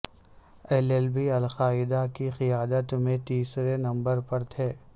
اللبی القاعدہ کی قیادت میں تیسرے نمبر پر تھے